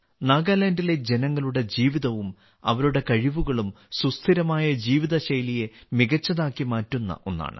നാഗാലാൻഡിലെ ജനങ്ങളുടെ ജീവിതവും അവരുടെ കഴിവുകളും സുസ്ഥിരമായ ജീവിതശൈലിയെ മികച്ചതാക്കി മാറ്റുന്ന ഒന്നാണ്